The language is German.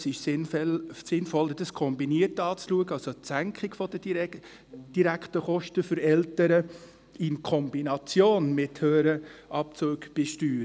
Es ist sinnvoller, die Senkung der direkten Kosten für die Eltern in Kombination mit höheren Steuerabzügen anzuschauen.